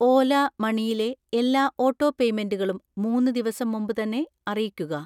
ഓല മണിയിലെ എല്ലാ ഓട്ടോപേയ്മെന്റുകളും മൂന്ന് ദിവസം മുമ്പ് തന്നെ അറിയിക്കുക.